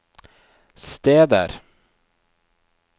steder